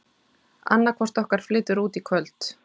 Annaðhvort okkar flytur út í kvöld.